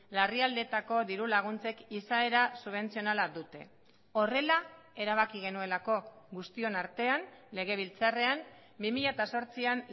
larrialdietako diru laguntzek izaera subentzionala dute horrela erabaki genuelako guztion artean legebiltzarrean bi mila zortzian